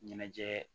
Ɲɛnajɛ